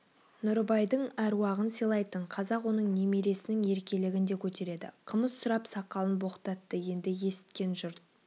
нұрыбайдың әруағын сыйлайтын қазақ оның немересінің еркелігін де көтереді қымыз сұрап сақалын боқтатты енді есіткен жұрт